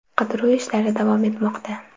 Qidiruv ishlari davom etmoqda.